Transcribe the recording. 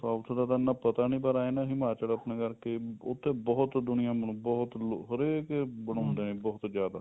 south ਦਾ ਤਾਂ ਇੰਨਾ ਪਤਾ ਨੀ ਪਰ ਇਹ ਆ ਨਾ ਹਿਮਾਚਲ ਆਪਣਾ ਕਰਕੇ ਉੱਥੇ ਬਹੁਤ ਦੁਨੀਆਂ ਬਹੁਤ ਲੋਕ ਹਰੇਕ ਏ ਬਹੁਤ ਜਿਆਦਾ